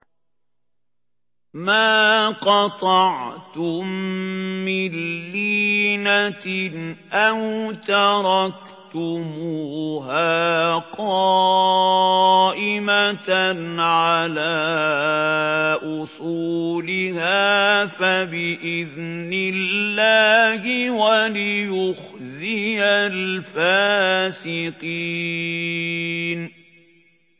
مَا قَطَعْتُم مِّن لِّينَةٍ أَوْ تَرَكْتُمُوهَا قَائِمَةً عَلَىٰ أُصُولِهَا فَبِإِذْنِ اللَّهِ وَلِيُخْزِيَ الْفَاسِقِينَ